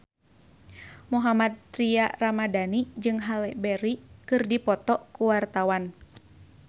Mohammad Tria Ramadhani jeung Halle Berry keur dipoto ku wartawan